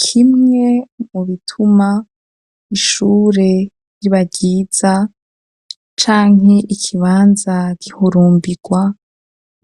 Kimwe mu bituma, ishure riba ryiza, canke ikibanza gihurumbirwa,